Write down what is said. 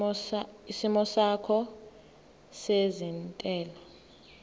isimo sakho sezentela